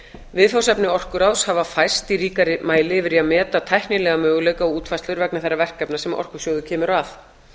viðfangsefni orkuráðs hafa færst í ríkari mæli yfir í að meta tæknilega möguleika og útfærslur vegna þeirra verkefna sem orkusjóður kemur að